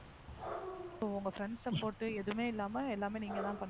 ஓ உங்க friend support எதுவுமே இல்லாம எல்லாமே நீங்க தான் பண்ணி~